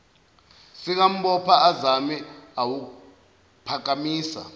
sikambopha azame ukuwuphakamisa